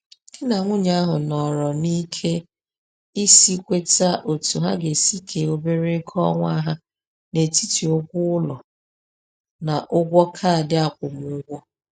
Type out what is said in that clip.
Di na nwunye ahụ nọrọ n’ike isi kweta otú ha ga-esi kee obere ego ọnwa ha n'etiti ụgwọ ụlọ na ụgwọ kaadị akwụmụgwọ.